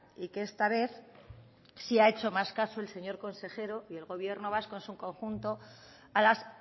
y que esta vez sí ha hecho más caso el señor consejero y el gobierno vasco en su conjunto a las